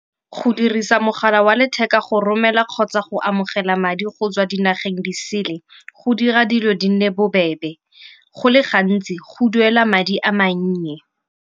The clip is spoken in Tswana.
Go dirisa mogala wa letheka go romela kgotsa go amogela madi go tswa dinageng disele go dira dilo di nne bo bebe, go le gantsi go duela madi a mannye.